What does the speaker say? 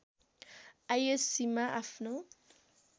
आईएस्सीमा आफ्नो